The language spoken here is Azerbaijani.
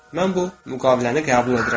Mən bu müqaviləni qəbul edirəm.